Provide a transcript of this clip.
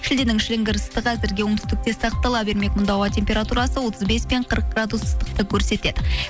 шілденің шілінгір ыстығы әзірге оңтүстікте сақтала бермек мұнда ауа температурасы отыз бес пен қырық градус ыстықты көрсетеді